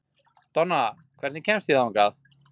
Donna, hvernig kemst ég þangað?